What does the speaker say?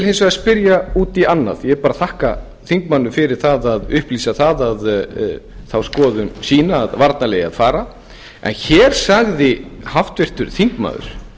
hins vegar spyrja út í annað ég bara þakka þingmanninum fyrir að upplýsa þá skoðun sína að varnarliðið eigi að fara en hér sagði háttvirtur þingmaður